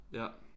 Ja